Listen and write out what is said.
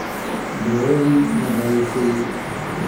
Daawadii ma daadisay?